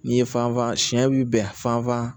N'i ye fanfan sɛ bɛ bɛn fanfan